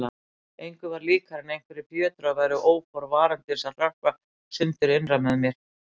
Engu var líkara en einhverjir fjötrar væru óforvarandis að hrökkva sundur innra með mér.